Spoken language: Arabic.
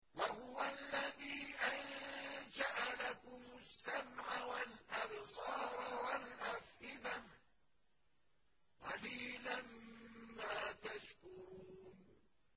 وَهُوَ الَّذِي أَنشَأَ لَكُمُ السَّمْعَ وَالْأَبْصَارَ وَالْأَفْئِدَةَ ۚ قَلِيلًا مَّا تَشْكُرُونَ